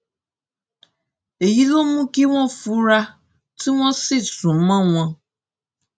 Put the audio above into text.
èyí ló mú kí wọn fura tí wọn sì sún mọ wọn